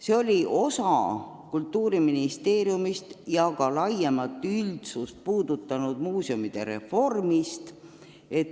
See oli osa Kultuuriministeeriumi ja ka laiemat üldsust puudutanud muuseumide reformist.